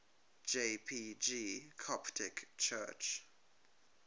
jpg coptic church